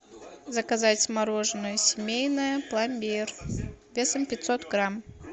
заказать мороженое семейное пломбир весом пятьсот грамм